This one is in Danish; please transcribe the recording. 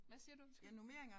Hvad siger du undskyld